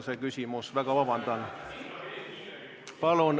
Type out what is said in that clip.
Vabandust!